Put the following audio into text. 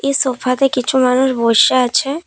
এই সোফাতে কিছু মানুষ বইসে আছে।